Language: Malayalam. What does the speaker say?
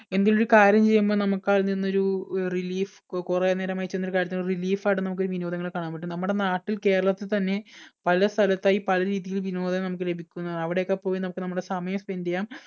എന്തെങ്കിലും ഒരു കാര്യം ചെയ്യുമ്പോൾ നമുക്ക് അതിൽ നിന്ന് ഒരു relief കുറെ നേരമായി ചെയ്യുന്ന ഒരു കാര്യത്തിൽ നിന്നൊരു relief ആയിട്ട് നമുക്ക് വിനോദങ്ങളെ കാണാൻ പറ്റും നമ്മുടെ നാട്ടിൽ കേരളത്തിൽ തന്നെ പല സ്ഥലത്തായി പല രീതിയിൽ വിനോദം നമുക്ക് ലഭിക്കുന്നതാണ് അവിടെയൊക്കെ പോയി നമുക്ക് നമ്മുടെ സമയം spend ചെയ്യാം